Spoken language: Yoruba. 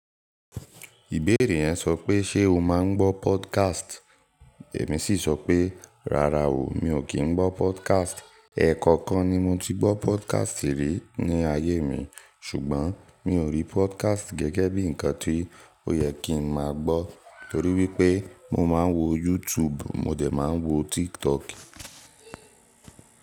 Ìbéèrè yẹn sọ pé ṣe o máa ń gbọ́ podcast? Èmi sì sọ pé, rárá o, mi ò kí ń gbọ́ podcast. Ẹ̀ẹ̀ẹ̀kọkan ni mo ti gbọ́ podcast rí ní ayé mi, ṣùgbọ́n mi ò rí podcast gẹ́gẹ́ bí ǹkan tí ó yẹ kí n máa gbọ́ torí wípé mo máa ń wo YouTube, mo jẹ̀ máa ń wo TikTok.